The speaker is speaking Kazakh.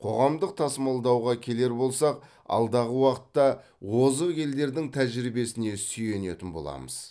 қоғамдық тасымалдауға келер болсақ алдағы уақытта озық елдердің тәжірибесіне сүйенетін боламыз